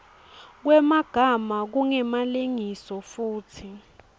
kwemagama kungemalengiso futsi